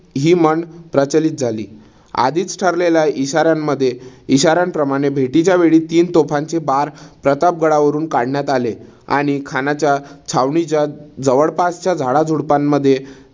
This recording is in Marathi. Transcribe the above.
हि म्हण प्रचलित झाली. आधीच ठरलेल्या इशाऱ्यानमध्ये इशाऱ्यान प्रमाणे भेटीच्या वेळी तीन तोफांचे बार प्रतापगडावरून काढण्यात आले. आणि खानाच्या छावणीच्या जवळपासच्या झाडाझुडपानमध्ये